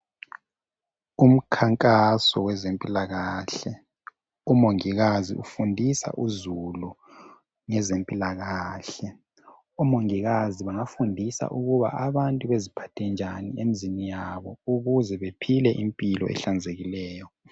Umkhankaso wezempilakahle. Umongikazi ufundisa uzulu ngezempilakahle. Omongikazi bayafundisa ukuba abantu beziphathe njani emzini yabo ukuze bephile impilo ehlanzekileyo.